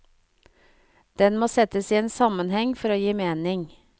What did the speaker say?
Den må settes i en sammenheng for å gi mening.